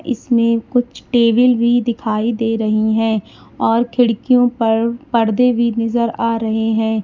इसमें कुछ टेबल भी दिखाई दे रही है और खिड़कियों पर पर्दे भी नजर आ रहे हैं।